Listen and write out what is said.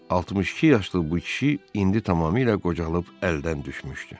62 yaşlı bu kişi indi tamamilə qocalıb əldən düşmüşdü.